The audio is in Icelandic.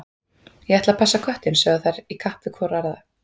Ég ætla að passa köttinn, sögðu þær hvor í kapp við aðra.